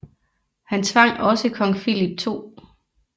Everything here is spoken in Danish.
Han tvang også kong Filip 2